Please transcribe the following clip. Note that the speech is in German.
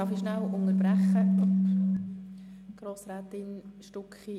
Darf ich kurz unterbrechen, Grossrätin Stucki?